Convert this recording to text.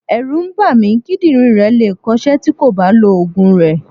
Ẹ̀rù ń bà mí, kídírìn rẹ̀ le è kọ ṣẹ́ tí kò bá lọ Ògùn rẹ̀.